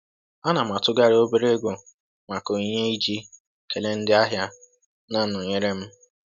Ana m atụgharị obere ego maka onyinye iji kele ndị ahịa na-nọnyeere m